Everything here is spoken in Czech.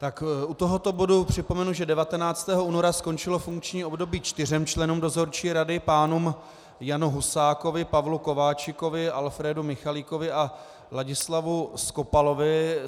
Tak u tohoto bodu připomenu, že 19. února skončilo funkční období čtyřem členům dozorčí rady, pánům Janu Husákovi, Pavlu Kováčikovi, Alfrédu Michalíkovi a Ladislavu Skopalovi.